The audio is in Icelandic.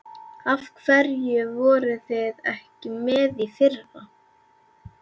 Af hverju voruð þið ekki með í fyrra?